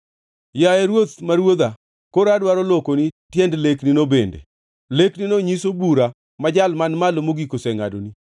“Yaye ruoth ma ruodha koro adwaro lokoni tiend leknino bende lekno nyiso bura ma Jal Man Malo Mogik osengʼadoni.